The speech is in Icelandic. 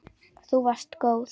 Þú varst góð.